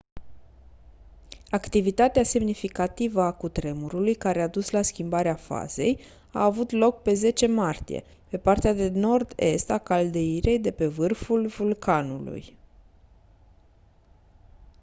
activitatea semnificativă a cutremurului care a dus la schimbarea fazei a avut loc pe 10 martie pe partea de nord-est a caldeirei de pe vârful vulcanului